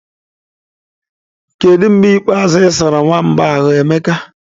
Kedu mgbe ikpeazụ ị sara nwamba a ahu, Emeka?